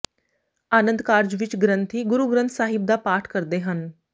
ਆਨੰਦ ਕਾਰਜ ਵਿੱਚ ਗ੍ਰੰਥੀ ਗੁਰੂਗ੍ਰੰਥ ਸਾਹਿਬ ਦਾ ਪਾਠ ਕਰਦੇ ਹਨ